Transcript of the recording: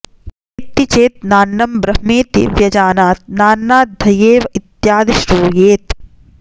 वेत्ति चेत् नान्नं ब्रह्मेति व्यजानात् नान्नाध्दयेव इत्यादि श्रूयेत्